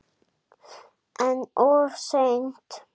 En of seint?